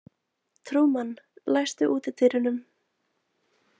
Trúmann, læstu útidyrunum.